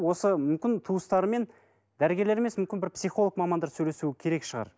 осы мүмкін туыстарымен дәрігерлер емес мүмкін бір психолог мамандар сөйлесу керек шығар